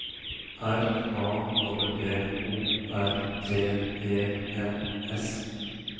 R A P P O R T E N S